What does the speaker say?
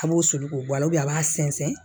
A b'o soli k'o bɔ a la a b'a sɛnsɛn